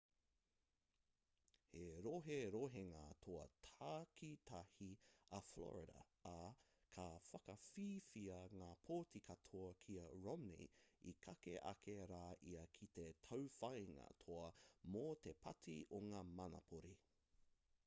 he roherohenga toa takitahi a florida ā ka whakawhiwhia ngā pōti katoa ki a romney i kake ake rā ia ki te tauwhāinga toa mō te pāti o ngā manapori